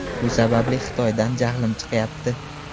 Shu sababli Xitoydan jahlim chiqayapti.